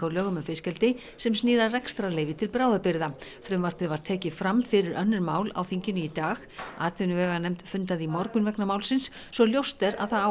á lögum um fiskeldi sem snýr að rekstrarleyfi til bráðabirgða frumvarpið var tekið fram fyrir önnur mál á þinginu í dag atvinnuveganefnd fundaði í morgun vegna málsins svo ljóst er að það á